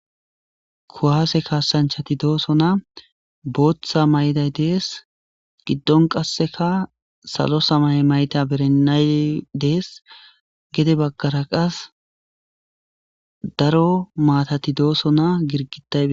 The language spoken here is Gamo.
kuwaase kaasanchati doosona booththa mayday dees giddon qasseka salo samaye mayta berennay dees gede baggara qas daro maatati dooso na girgitayi